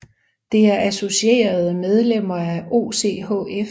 Det er associerede medlemmer af OCHF